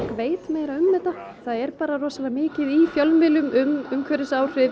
veit meira um þetta það er bara rosalega mikið í fjölmiðlum um umhverfisáhrif